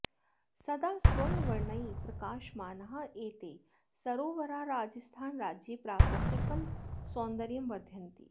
सदा स्वर्णवर्णैः प्रकाशमानाः एते सरोवराः राजस्थानराज्ये प्राकृतिकं सौन्दर्यं वर्धयन्ति